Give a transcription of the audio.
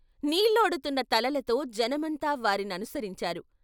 నీళ్లోడుతున్న తలలతో జనమంతా వారిననుసరించారు.